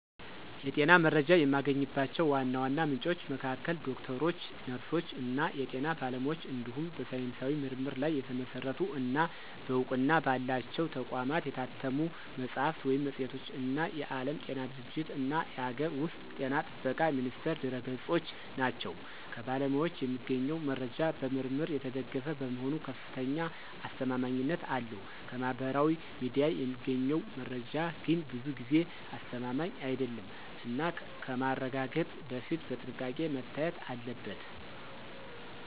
የጤና መረጃ የማገኝባቸው ዋና ዋና ምንጮች መካከል ዶክተሮች፣ ነርሶች እና የጤና ባለሙያዎች እንዲሁም በሳይንሳዊ ምርምር ላይ የተመሰረቱ እና በእውቅና ባላቸው ተቋማት የታተሙ መጽሐፍት ወይም መጽሔቶች እና የዓለም ጤና ድርጅትእና የአገር ውስጥ ጤና ጥበቃ ሚኒስቴር ድረ-ገጾች ናቸው። ከባለሙያዎች የሚገኘው መረጃ በምርምር የተደገፈ በመሆኑ ከፍተኛ አስተማማኝነት አለው። ከማህበራዊ ሚዲያ የሚገኘው መረጃ ግን ብዙ ጊዜ አስተማማኝ አይደለም እና ከማረጋገጥ በፊት በጥንቃቄ መታየት አለበት።